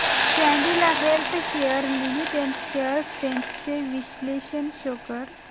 Cadila healthcare limited shares trends चे विश्लेषण show कर